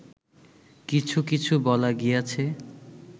কিছু কিছু বলা গিয়াছে